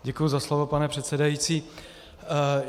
Děkuji za slovo, pane předsedající.